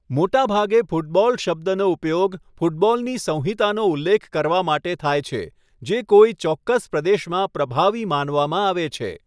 મોટાભાગે ફૂટબોલ શબ્દનો ઉપયોગ ફૂટબોલની સંહિતાનો ઉલ્લેખ કરવા માટે થાય છે જે કોઈ ચોક્કસ પ્રદેશમાં પ્રભાવી માનવામાં આવે છે.